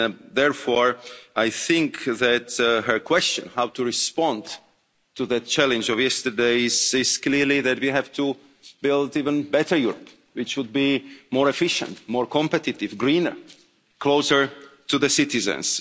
Therefore, I think that her question on how to respond to the challenge of yesterday is clearly that we have to build an even better Europe, which would be more efficient, more competitive, greener, closer to the citizens.